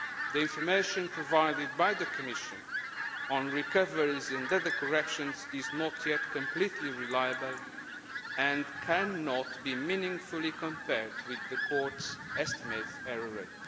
The information provided by the Commission on recoveries and other corrections is not yet completely reliable and cannot be meaningfully compared with the Court's estimated error rate.